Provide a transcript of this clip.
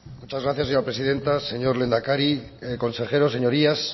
muchas gracias señora presidenta señor lehendakari consejeros señorías